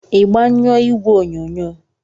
Ị gbanyụọ igwe onyonyo?